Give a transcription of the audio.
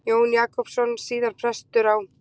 Jón Jakobsson, síðar prestur á